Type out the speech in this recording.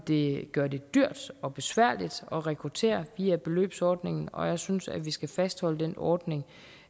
det gøre det dyrt og besværligt at rekruttere via beløbsordningen og jeg synes vi skal fastholde den ordning